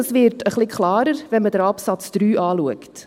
Das Warum wird ein wenig klarer, wenn man Absatz 3 betrachtet.